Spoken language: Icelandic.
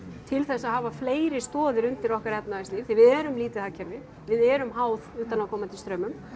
til þess að hafa fleiri stoðir undir okkar efnahagslíf því við erum lítið hagkerfi við erum háð utanaðkomandi straumum